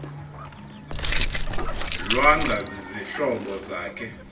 lwanga zizihlobo zakhe